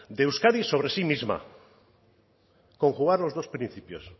de euskadi sobre sí misma conjugar los dos principios